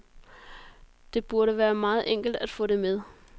Det burde være meget enkelt at få det med.